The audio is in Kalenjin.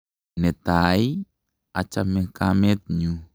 Netai ii, achame kamet nyu.